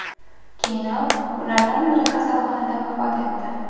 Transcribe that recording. Keyinroq ulardan biri kasalxonada vafot etdi.